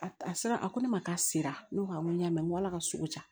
A a sera a ko ne ma k'a sera ne ko n ko n y'a mɛn n ko ala ka sugu ja